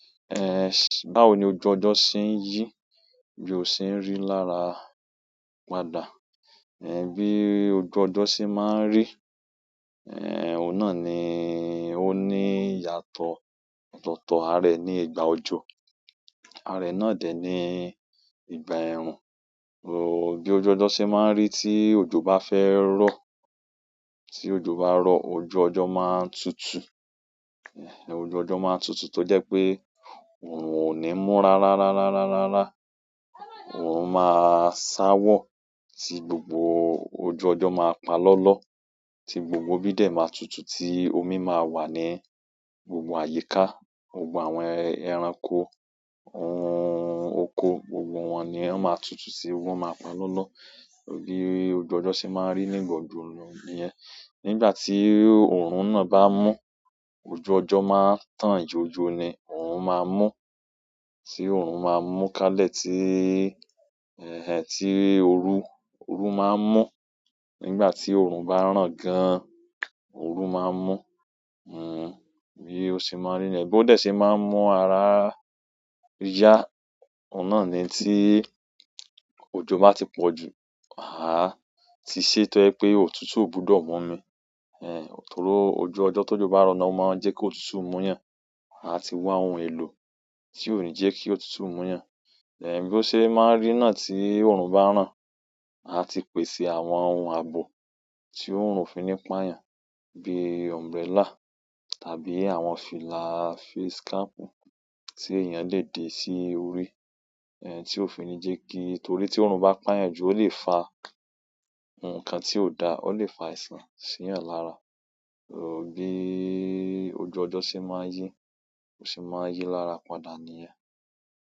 Eh, báwo ni ojú ọjọ́ ṣe ń yí, bí ó ṣe ń rí lára padà. Eh, bí ojú ọjọ́ ṣe máa ń rí, eh, òun náà ni ó ní ìyàtọ̀ ọ̀tọ̀tọ̀ arẹ ní ìgbà ọjọ́, arẹ náà dẹ̀ ní ìgbà ẹ̀rùn. Bí ojú ọjọ́ ṣe máa ń rí tí òjò bá fẹ́ rọ́, tí òjò bá rọ́, ojú ọjọ́ máa ń tutù. Eh, ojú ọjọ́ máa ń tutù tó jẹ́ pé òrùn ò ní múra rárárárárárá. Òrùn máa sáwọ tí gbogbo ojú ọjọ́ máa pa lọ́lọ́, tí gbogbo ibi dè máa tutù tí omi máa wà ní gbogbo àyíká, gbogbo àwọn ẹranko, àwọn oko, gbogbo wọ́n ni wọn máa tutù sí wọ́n máa pa lọlọ. Bí ojú ọjọ́ ṣe máa ń rí nígbà òjò nu nìyẹn. Nígbà tí òòrùn náà bá mú, ojú ọjọ́ máa ń tàn jojo ni òòrùn máa ń mú. Tí òòrùn máa ń mú kálẹ̀ tí, ẹh ẹh, tí orú, orú máa ń mú nígbà tí òòrùn bá ràn gan, orú máa ń mú. Hmm, bí ó ṣe máa ń rí nìyẹn bó dẹ se máa ń mú ara yá, òun náà ni tí òjò bá ti pọ̀jù. Ma áà ti se tojẹ pé òtútù ò gbúdọ̀ mú mi, eh, torí ojú ọjọ́ tó jò bá rọ̀ náà ó máa ń jẹ́ kí òtútù mú yàn. A ti wá ohun èlò tí ó ní jẹ́ kí òtútù mú yàn. Eh, bí ó ṣe máa ń rí náà tí òòrùn bá ràn, a ti pèsè àwọn ohun àbò tí òòrùn òfi ní pà yàn bí umbrella tàbí àwọn fìlà facecap tí èèyàn lè di sí orí, eh, tí ó fi ní jẹ́ kí torí tí òòrùn bá pán yàn jù ó lè fa ǹkan tí ò da, ó lè fa àìsàn sí yàn lára. Bí ojú ọjọ́ ṣe máa ń yí, ó sì máa ń yí lára padà nìyẹn.